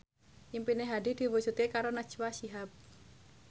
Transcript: impine Hadi diwujudke karo Najwa Shihab